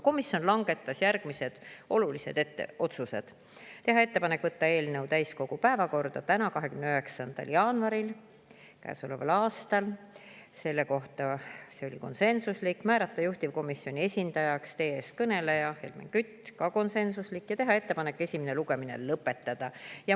Komisjon langetas järgmised olulised otsused: teha ettepanek võtta eelnõu täiskogu päevakorda täna, 29. jaanuaril käesoleval aastal, see oli konsensuslik; määrata juhtivkomisjoni esindajaks teie ees kõneleja, Helmen Kütt, ka konsensuslik; ja teha ettepanek esimene lugemine lõpetada.